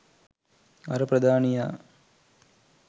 අර ප්‍රධානියා